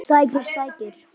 Sækir skæri.